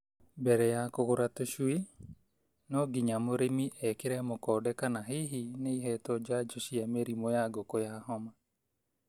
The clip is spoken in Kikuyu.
Mbere ya kũgũra tũcui, no nginya mũrĩmi ekĩre mũkonde kana hihi nĩ ihetwo njanjo cia mĩrimũ ya ngũkũ ya homa.